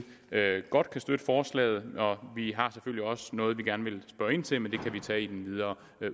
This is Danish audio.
godt kan støtte forslaget vi har selvfølgelig også noget vi gerne vil spørge ind til men det kan vi tage i den videre